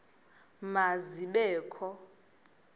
ma zibe kho